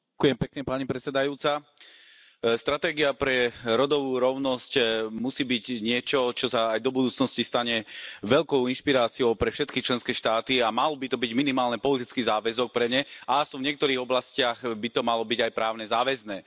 Vážená pani predsedajúca, stratégia pre rodovú rovnosť musí byť niečo, čo sa aj do budúcnosti stane veľkou inšpiráciou pre všetky členské štáty, a mal by to byť minimálne politický záväzok pre ne a aspoň v niektorých oblastiach by to malo byť aj právne záväzné.